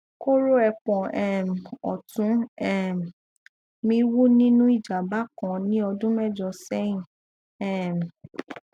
koro epon um ọtún um mi wú nínú ìjàmbá kan ní ọdún mẹjọ sẹyìn um